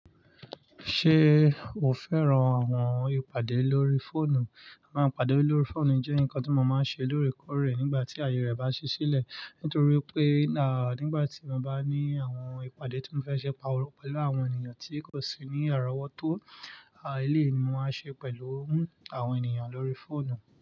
Ṣé o fẹ́ran àwọn ìpàdé lórí fóònù? Máa pàdé lórí fóònù jẹ́ nǹkan tí mo máa ń ṣe lóòrèkóòrè nígbà tí aayé rẹ bá ṣi ṣílẹ̀ nítorí pé, à, nígbà tí mo bá ní àwọn ìpàdé tí mo fẹ́ ṣe pẹ̀lú àwọn ènìyàn tí kò sí ní àrọ́wọ́tó, à, eleyìi ni mo máa n ṣe pẹ̀lú àwọn ènìyàn lórí fóònù.